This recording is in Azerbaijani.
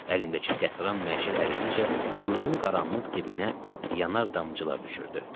Əlimdəki qətran məşəl əridikcə quyunun qaranlıq dibinə yanar damcılar düşürdü.